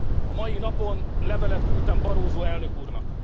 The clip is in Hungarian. A mai napon levelet küldtem Barroso elnök úrnak.